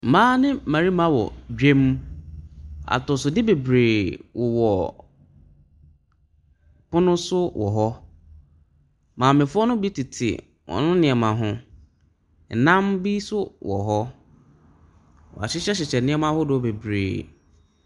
Mmaa ne mmarima wɔ dwam. Atosodeɛ bebree wowɔ pono so wɔ hɔ. Maamefoɔ no bi tete wɔn nneɛma ho. Nam bi nso wɔ hɔ. Wɔahyehyɛhyehyɛ nneɛma ahodoɔ bebree.